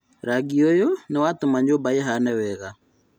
Rangi ũyũ nĩwatũma nymba ĩhane wega